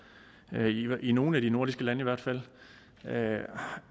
i nogle af de nordiske lande i hvert fald